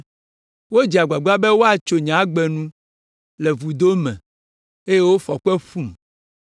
Wodze agbagba be woatso nye agbe nu le vudo me eye wofɔ kpe ƒum.